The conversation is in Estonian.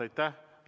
Aitäh!